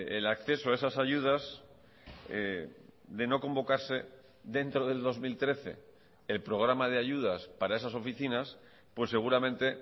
el acceso a esas ayudas de no convocarse dentro del dos mil trece el programa de ayudas para esas oficinas pues seguramente